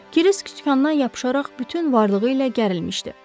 Kirisk sükandan yapışaraq bütün varlığı ilə gərilmişdi.